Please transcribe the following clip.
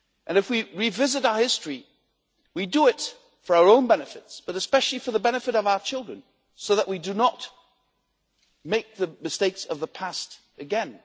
If we revisit our history, we do it for our own benefit, but especially for the benefit of our children so that we do not make the mistakes of the past again.